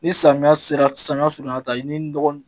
Ni samiya sera samiya surunyala tan i bɛ nɔgɔ